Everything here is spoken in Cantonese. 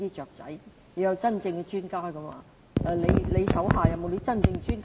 我們需要真正的專家，局長手下有沒有真正的專家？